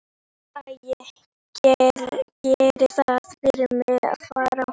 Æ, gerið það fyrir mig að fara.